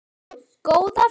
Góða ferð!